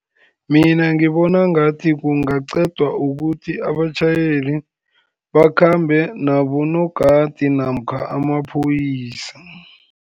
Mina ngibona ngathi kungaqedwa, ukuthi abatjhayeli bakhambe nabonogadi namkha amaphoyisa.